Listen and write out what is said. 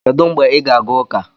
Kedu mgbe ị ga-aga ụka?